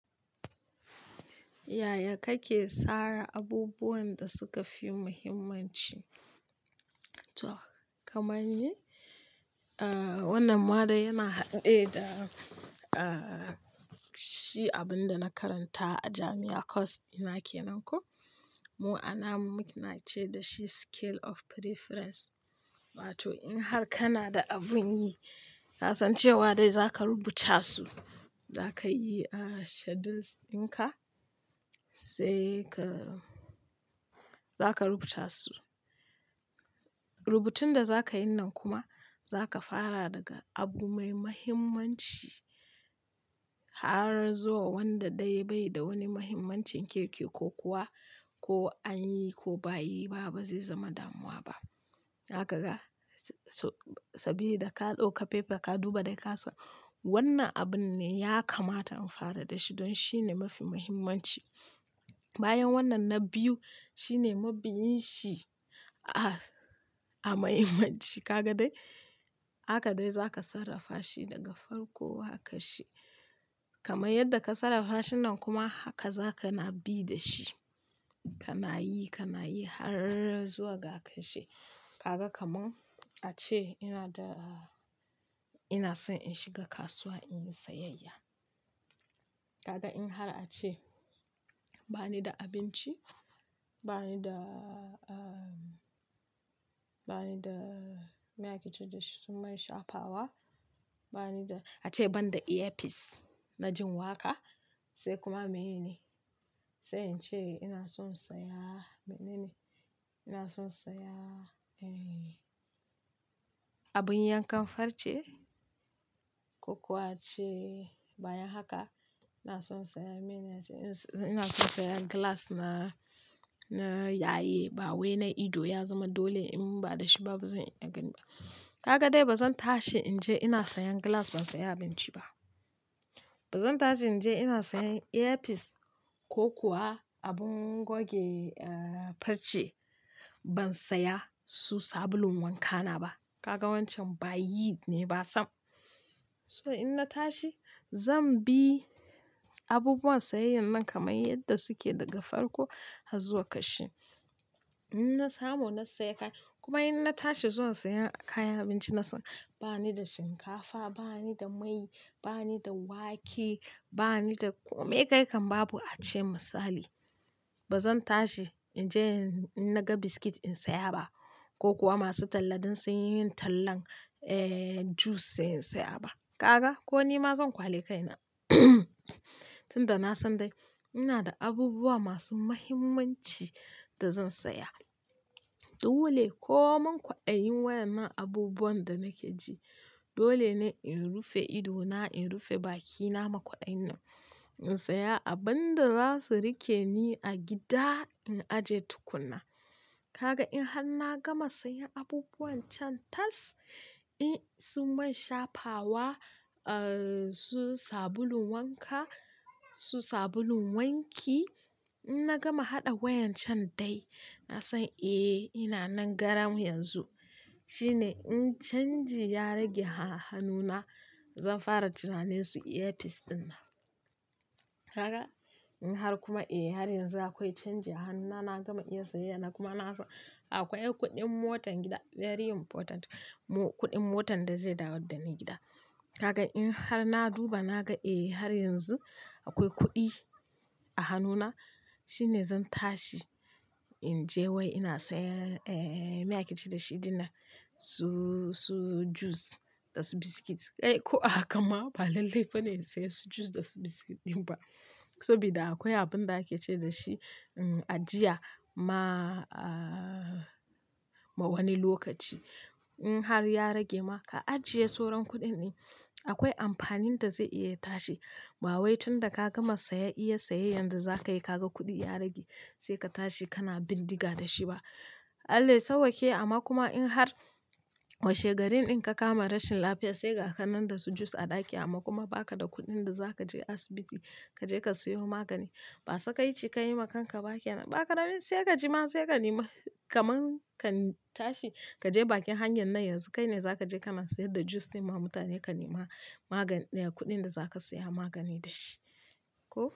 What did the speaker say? Yaya kake tsara abubuwan da suka fi muhimmanci? Kamar ni, wannan ma dai yana haɗe ne da shi abin da na karanta a jami'a course ɗina kenan ko. Mu ana, muna ce da shi scale of preference. Wato in har kana da abun yi, na san cewa dai zaka rubuta su, zaka yi schedules ɗin ka sai ka, za ka rubuta su. Rubutun da zaka yin nan kuma zaka fara daga abu mai muhimmanci har zuwa wanda dai bai da wani muhimmancin kirki ko kuwa ko an yi ko ba yi ba ba zai zama damuwa ba. Zaka ga, s-sabida da ka ɗauka paper ka duba dai ka san wannan abun ne ya kamata in fara da shi dan shine mafi muhimmanci. Bayan wannan na biyu shine mabiyin shi a-a muhimmanci. Ka ga dai? Haka dai zaka sarrafa shi daga farko har ƙashe. Kamar yadda ka sarrafa shin nan kuma haka zaka na bi da shi. Ka na yi, ka na yi har zuwa ga ƙashi. Ka ga kaman a ce ina da, ina son in shiga kasuwa in yi sayayya. Ka ga in har a ce ba ni da abinci, ba ni da, bani da ah, meye ake ce da shi, su man shafawa, bani da, ace ban da ear piece na jin waƙa, sai kuma meye ne? Sai in ce ina son saya mene ne, ina son saya, abun yankan farce ko kuwa a ce bayan haka ina son saya meye na ce, ina son saya glass na, na yaye ba wai na ido ya zama dole in ba da shi ba bazan iya ganin ba. Kaga dai bazan tashi in je ina sayan glass ban saya abinci ba. Bazan tashi in je ina sayan earpiece ko kuwa abun yanke farce ban saya su sabulun wanka na ba. Ka ga wancan ba yi ne ba sam. So in na tashi zan bi abubuwan sayayyan nan kamar yadda suke daga farko har zuwa ƙarshe. In na samu na saya kaya, kuma in na tashi zuwa sayan kayan abinci na san ba ni da shinkafa, ba ni da mai, ba ni da wake, ba ni da komai kai kan babu a ce misali. Ba zan tashi in je in na ga biskit in saya ba ko kuwa masu talla dan sun yi min tallan juice sainin saya ba. Ka ga ko nima zan ƙwale kaina tunda na san dai ina da abubuwa masu muhimmanci da zan saya. Dole, koman kwaɗayin waƴannan abubuwan da nake ji, dole ne in rufe idona, in rufe baki na ma kwaɗayin nan. In saya abun da za su riƙe ni a gida in aje tukunna. Ka ga in har na gama sayan abubuwan can tas, in su man shafawa, su sabulun wanka, su sabulun wanki, in na gama haɗa waƴan can dai na san eh ina nan garan yanzu. Shine in canji ya rage a hannuna zan fara tunanin su earpiece ɗin nan kaga, in har kuma eh har yanzu akwai canji a hannuna na gama iya sayayya na kuma na ga, akwai kuɗin motan gida very important. Mu-kuɗin motan da zai dawo da ni gida. Haka in har na duba na ga eh har yanzu akwai kuɗi a hannuna shine zan tashi in je wai ina saya meye a ke ce da shi ɗin nan, su, su juice da su biskit. Eh ko a hakan ma ba lallai ba ne in saya su juice da su biskit ɗin ba, saboda akwai abun da ake ce da shi ajiya ma, ma wani lokaci. In har ya rage ma ka ajiye sauran kuɗin ɗin, akwai amfanin da zai iya tashi ba wai tunda ka gama saya iya sayayyan da zaka yi ka ga kuɗi ya rage sai ka tashi kana bindiga da shi ba. Allah ya sauwaƙe, amma kuma in har washe garin ɗin ka kama rashin lafiya sai ga kanan da su juice a ɗaki amma kuma baka da kuɗin da zaka je asibiti ka je ka sayo magani ba sakalci ka yi ma kanka ba kenan, ba ka da rai sai ka ji ma sai ka nema kaman ka tashi ka je bakin hanyar nan yanzu kai ne zaka je kana sayar da juice ɗin ma mutane ka nema magani, ya kuɗin da zaka saya magani da shi. Ko.